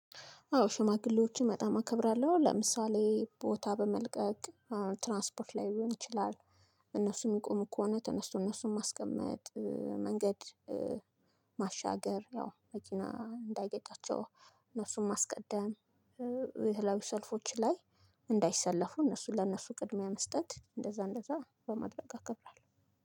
አዎ ሽማግሌዎችን በጣም አከብራለሁ ለምሳሌ ቦታ በመልቀቅ ትራንስፖርት ሊሆን ይችላል። እነሱም የሚቆሙ ከሆነ ተነስቶ እነሱም ማስቀመጥ መንገድ ማሻገር ያው መኪና እንዳይገጫቸው እነሱን ማስቀደም። የተለያዩ ሰልፎች ላይ እንዳይሰለፉ እነሱ ለእነሱ ቅድሚያ መስጠት እንደዛ እንደዛ በማድረግ አከብራለሁ።